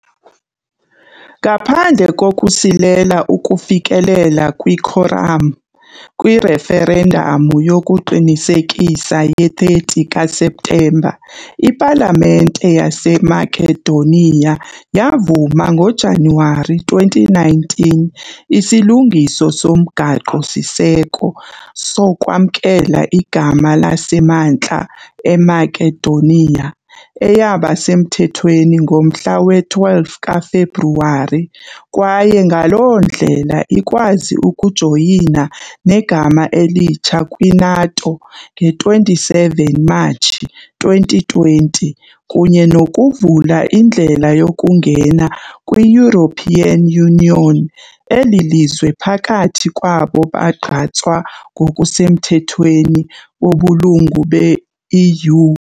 Ngaphandle kokusilela ukufikelela "kwikhoram" kwireferendamu yokuqinisekisa ye-30 kaSeptemba, ipalamente yaseMakedoniya yavuma ngoJanuwari 2019 isilungiso somgaqo-siseko sokwamkela igama laseMantla "eMakedoniya", eyaba semthethweni ngomhla we-12 kaFebruwari, kwaye ngaloo ndlela ikwazi ukujoyina negama elitsha kwi-NATO nge-27 Matshi 2020 kunye nokuvula indlela yokungena kwi-European Union, elilizwe phakathi kwabo bagqatswa ngokusemthethweni bobulungu be-EU.